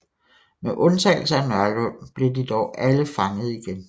Med undtagelse af Nørlund blev de dog alle fanget igen